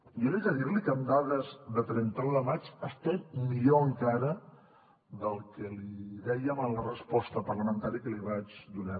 jo li he de dir li que amb dades de trenta un de maig estem millor encara del que li dèiem en la resposta parlamentària que li vaig donar